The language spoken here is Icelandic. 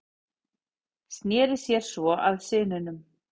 Sneri sér svo að syninum.